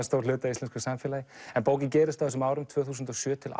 stór hluti af íslensku samfélagi en bókin gerist á árunum tvö þúsund og sjö til